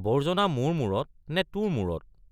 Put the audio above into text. আৱৰ্জনা মোৰ মূৰত নে তোৰ মূৰত।